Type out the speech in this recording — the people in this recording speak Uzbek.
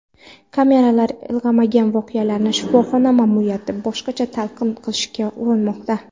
Kameralar ilg‘amagan voqealarni shifoxona ma’muriyati boshqacha talqin qilishga urinmoqda.